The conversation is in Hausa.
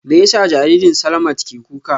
Me yasa jaririn Slamat ke kuka?